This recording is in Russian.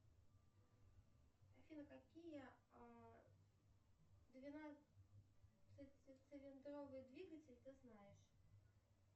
афина какие двенадцать цилиндровый двигатель ты знаешь